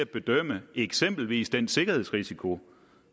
bedømme eksempelvis den sikkerhedsrisiko